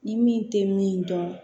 Ni min tɛ min dɔn